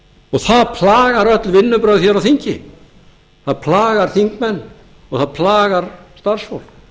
og það plagar öll vinnubrögð á þingi það plagar þingmenn og það plagar starfsfólk